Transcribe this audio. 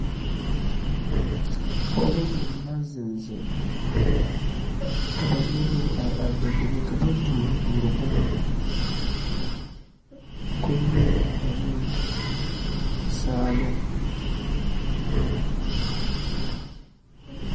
pɔgeba mine la zeŋ zeŋ ka ba mine meŋ are are dendeŋe ka ba duori duori boma komie ane saaloŋ